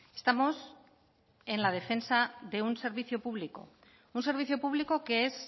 estamos en la defensa de un servicio público un servicio público que es